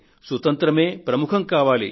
సుతంత్రమే ప్రముఖం కావాలి